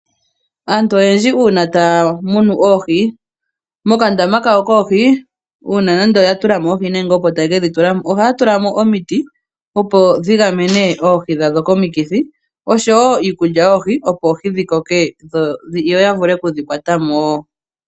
Aantu oyendji uuna taya munu oohi, mokandama kawo koohi, uuna yatulamo oohi nenge opo taya ka tulamo oohi, ohaya tulamo omiti, opo dhigamene oohi dhawo komikithi, oshowo iikulya yoohi, opo oohi dhikoke, yo yavule okudhi kwatamo wo.